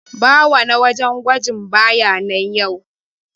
Bawa na wajen gwaji baya nan yau.